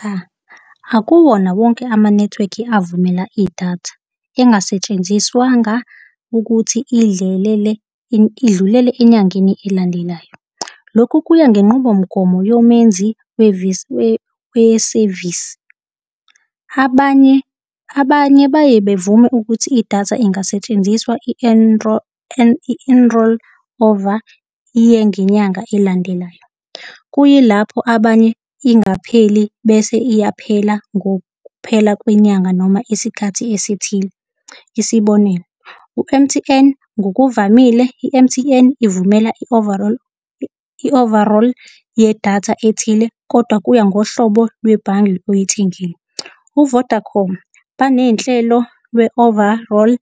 Cha, akuwona wonke ama-network-i avumela idatha engasetshenziswanga ukuthi idlulele enyangeni elandelayo. Lokhu kuya ngenqubomgomo yomenzi wesevisi. Abanye, abanye baye bevume ukuthi idatha ingasetshenziswa i-enrol over yengenyanga elandelayo. kuyilapho abanye ingapheli bese iyaphela ngokuphela kwenyanga noma isikhathi esithile. Isibonelo, u-M_T_N ngokuvamile i-M_T_N ivumela i-overall, i-overall yedatha ethile, kodwa kuya ngohlobo lwe-bundle oyithengile. U-Vodacom baney'nhlelo lwe-overall